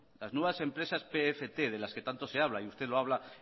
las nuevas empresas pft de las que tanto se habla y usted lo habla